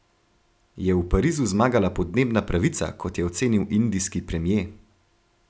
Je v Parizu zmagala podnebna pravica, kot je ocenil indijski premier?